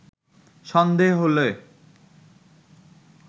সন্ধে হলে